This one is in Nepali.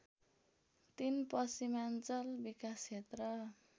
३ पश्चिमाञ्चल विकास क्षेत्र